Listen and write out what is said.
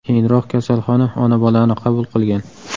Keyinroq kasalxona ona-bolani qabul qilgan.